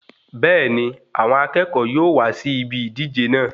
Bẹẹni, àwọn akẹ́kọ̀ọ́ yóò wá sí ìbi ìdíje náà